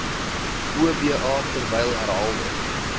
oba terwyl herhaalde